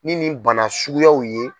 Nin nin bana suguyaw ye.